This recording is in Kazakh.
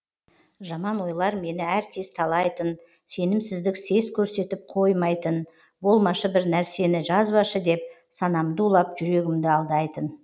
жаман ойлар мені әркез талайтын сенімсіздік сес көрсетіп қоймайтын болмашы бір нәрсені жазбашы деп санамды улап жүрегімді алдайтын